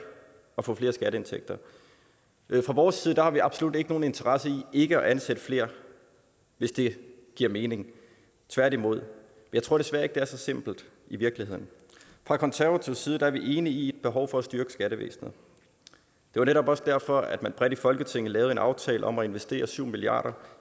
og få flere skatteindtægter fra vores side har vi absolut ikke nogen interesse i ikke at ansætte flere hvis det giver mening tværtimod jeg tror desværre ikke at det er så simpelt i virkeligheden fra konservativ side er vi enige i er et behov for at styrke skattevæsenet det var netop også derfor at man bredt i folketinget lavede en aftale om at investere syv milliard